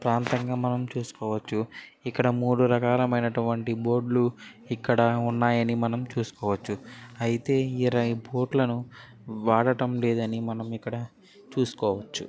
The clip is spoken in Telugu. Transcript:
ప్రాంతంగా మనము చుస్కోవచ్చు. ఇక్కడ మూడు రకాలైనటు వంటి బోర్డులు ఇక్కడ ఉన్నాయని మనము చుస్కోవచ్చు. అయితే ఈ రైంపోర్టులను వాడటం లేదని మనము ఇక్కడ చుస్కో--